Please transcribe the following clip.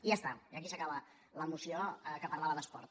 i ja està i aquí s’acaba la moció que parlava d’esport